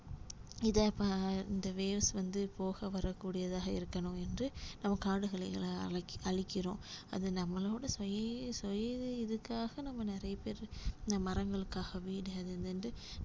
இதா இப்ப இந்த waves வந்து போக வரக்கூடியதாக இருக்கணும் என்று நம்ம காடுகிளைகள அழி~ அழிக்கிறோம் அது நம்மளோட சுயி~ சுய இதுக்காக நம்ம நிறைய பேரு இந்த மரங்களுக்காக வீடு அது இதுன்னுட்டு